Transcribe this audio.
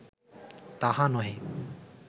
তাহা নহে